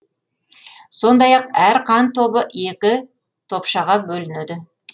сондай ақ әр қан тобы екі топшаға бөлінеді